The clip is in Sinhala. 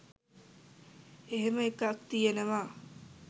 එහෙම එකක් තියෙනවා